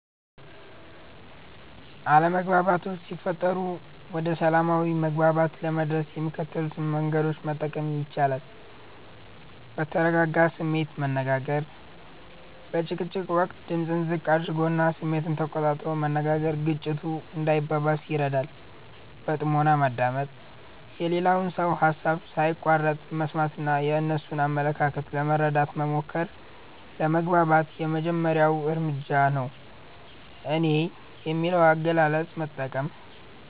አለመግባባቶች ሲፈጠሩ ወደ ሰላማዊ መግባባት ለመድረስ የሚከተሉትን መንገዶች መጠቀም ይቻላል፦ በተረጋጋ ስሜት መነጋገር፦ በጭቅጭቅ ወቅት ድምጽን ዝቅ አድርጎና ስሜትን ተቆጣጥሮ መነጋገር ግጭቱ እንዳይባባስ ይረዳል። በጥሞና ማዳመጥ፦ የሌላውን ሰው ሃሳብ ሳይቋርጡ መስማትና የእነሱን አመለካከት ለመረዳት መሞከር ለመግባባት የመጀመሪያው እርምጃ ነው። "እኔ" የሚል አገላለጽን መጠቀም፦